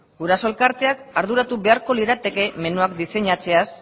guraso elkarteak arduratu beharko lirateke menuak diseinatzeaz